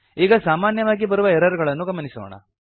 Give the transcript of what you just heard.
ಈಗ ಸಾಮಾನ್ಯವಾಗಿ ಬರುವ ಎರರ್ ಗಳನ್ನು ಗಮನಿಸೋಣ